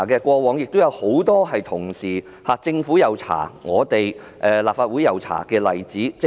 過往亦有很多政府及立法會同步調查的例子。